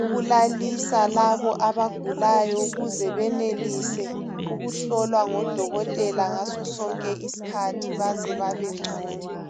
ukulalisa labo abagulayo ukuze benelise ukuhlolwa ngodokotela ngaso sonke iskhathi baze babe ngcono.